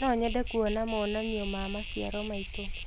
No nyende kuona monanio ma maciaro maitũ.